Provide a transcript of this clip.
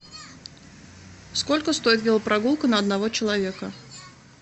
сколько стоит велопрогулка на одного человека